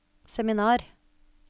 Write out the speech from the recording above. seminar